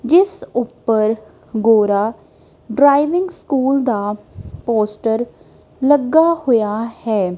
ਜਿਸ ਉੱਪਰ Gora driving school ਦਾ ਪੋਸਟਰ ਲੱਗਾ ਹੋਇਆ ਹੈ।